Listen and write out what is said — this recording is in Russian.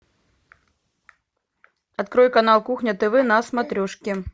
открой канал кухня тв на смотрешке